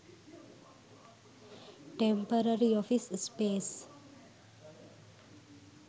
temporary office space